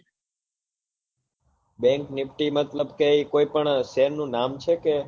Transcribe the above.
bank nifty મતલબ કે એ કોઈ પણ share નું નામે છે કે?